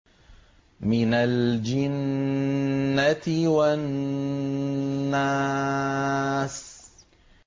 مِنَ الْجِنَّةِ وَالنَّاسِ